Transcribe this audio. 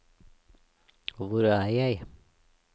hvor er jeg